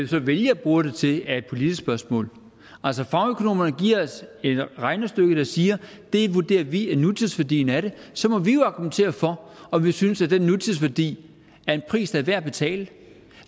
så vælger at bruge det til er et politisk spørgsmål altså fagøkonomerne giver os et regnestykke der siger at det vurderer de er nutidsværdien af det så må vi jo argumentere for om vi synes at den nutidsværdi er en pris der er værd at betale